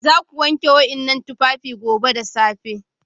Za ku wanke waɗannan tufafi gobe da safe!